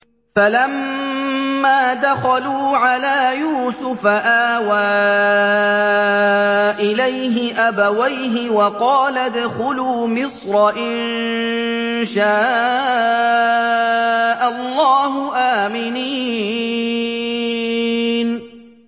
فَلَمَّا دَخَلُوا عَلَىٰ يُوسُفَ آوَىٰ إِلَيْهِ أَبَوَيْهِ وَقَالَ ادْخُلُوا مِصْرَ إِن شَاءَ اللَّهُ آمِنِينَ